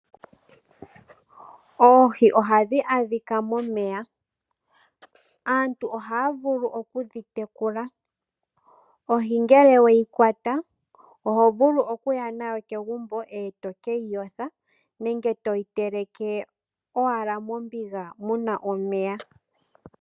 Oohi ohadhi adhika momeya. Aantu ohaya vulu okudhi tekula. Ohi ngele weyi kwata, oho vulu okuya nayo kegumbo e to ke yi yotha nenge to yi teleke owala mombiga mu na omeya.